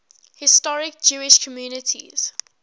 historic jewish communities